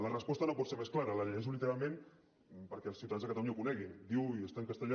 la resposta no pot ser més clara la llegeixo literalment perquè els ciutadans de catalunya ho coneguin i està en castellà